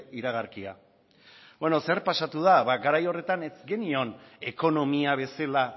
iragarkia beno zer pasatu da ba garai horretan ez genion ekonomia bezala